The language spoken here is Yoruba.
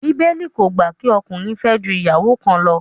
Bíbélì kò gbà kí ọkùnrin fẹ́ ju ìyàwó kan lọ